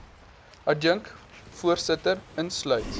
adjunk voorsitter insluit